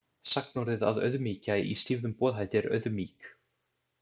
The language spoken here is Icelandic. Sagnorðið að „auðmýkja“ í stýfðum boðhætti er „auðmýk“.